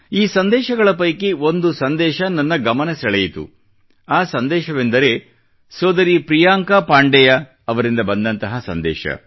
ಈ ಸಂದೇಶಗಳ ಪೈಕಿ ಒಂದು ಸಂದೇಶ ನನ್ನ ಗಮನ ಸೆಳೆಯಿತು ಆ ಸಂದೇಶವೆಂದರೆ ಸೋದರಿ ಪ್ರಿಯಾಂಕಾ ಪಾಂಡೆಯ ಅವರಿಂದ ಬಂದಂತಹ ಸಂದೇಶ